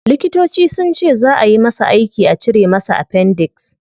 Likitoci sunce zaa ayi masa aiki a cire masa appendix